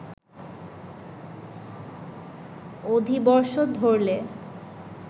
অধিবর্ষ ধরলে